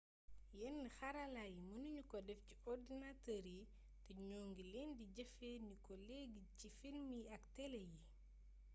yenn xarala yi mënañu ko déf ci ordinateur yi té ñoo ngi leen di jëfee ni ko léegi ci film yi ak télé yi